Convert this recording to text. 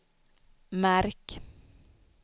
märk